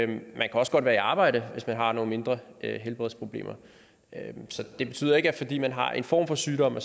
man kan også godt være i arbejde hvis man har nogle mindre helbredsproblemer så det betyder ikke at fordi man har en form for sygdom